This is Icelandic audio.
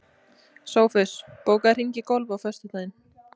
Sófus, bókaðu hring í golf á föstudaginn.